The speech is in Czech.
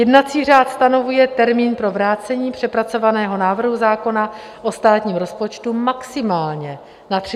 Jednací řád stanovuje termín pro vrácení přepracovaného návrhu zákona o státním rozpočtu maximálně na 30 dnů.